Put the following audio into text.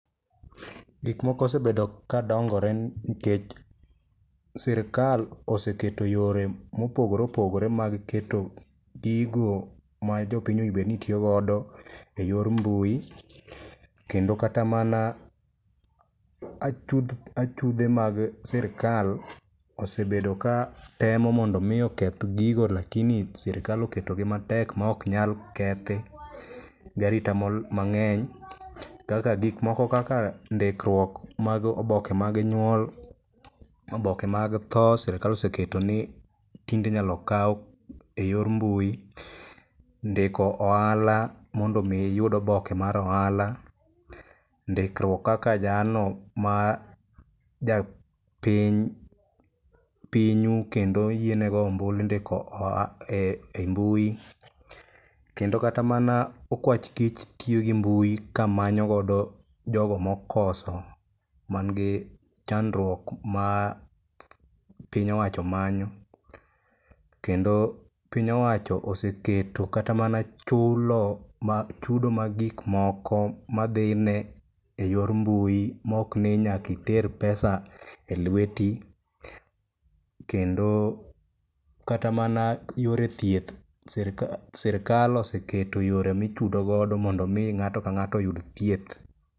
Gik moko osebedo ka dongore nikech sirikal oseketo yore mopogore opogore mag keto gigo ma jopiny onego bed ni tiyo godo e yor mbui, kendo kata mana achudh, achudhe mag sirikal osebedo katemo mondo omi oketh gigo lakini sirikal oketogi matek ma ok nyal kethi gi arita mang'eny, kaka ,gikmoko kaka ndikruok mag oboke mag nyuol, oboke mag tho, sirikal oseketo ni tinde inyalo kaw e yor mbui, ndiko ohala mondo omi iyud oboke mar ohala, ndikruok kaka jalno majapiny u kendo oyiene go ombulu, indiko ei mbui. Kendo kata mana okwach kich tiyo gi mbui kamanyo godo jogo mokoso manigi chandruok ma piny owacho manyo. Kendo piny owacho oseketo kata mana chudo mag gik moko madhine e yor mbui, mokni nyaka iter pesa e lweti, kendo kata mana yore thieth, sirikal oseketo yore michudo godo mondo omi ng'ato ka ng'ato oyud thieth.